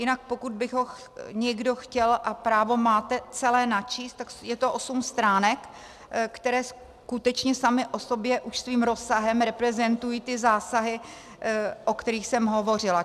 Jinak pokud by ho někdo chtěl, a právo máte, celé načíst, tak je to osm stránek, které skutečně samy o sobě už svým rozsahem reprezentují ty zásahy, o kterých jsem hovořila.